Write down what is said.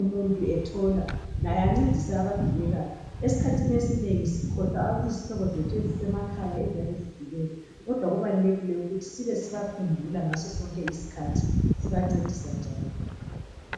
umuntu ethola laye ancedise abadubekayo, esikhathini esinengi sikhohlwa izihlobo zethu ezisemakhaya eziyabe zidubeka kodwa kubalulekile ukuthi sibe sibakhumbula ngaso sonke isikhathi sibancedisa njalo